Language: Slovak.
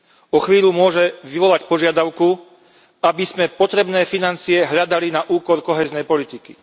O chvíľu môže vyvolať požiadavku, aby sme potrebné financie hľadali na úkor kohéznej politiky.